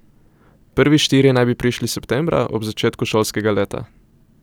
Prvi štirje naj bi prišli septembra, ob začetku šolskega leta.